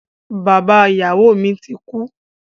Bàbá ìyàwó mi ti kú.